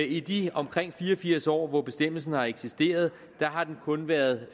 i de omkring fire og firs år år bestemmelsen har eksisteret har den kun været